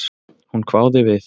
Hún hváði við.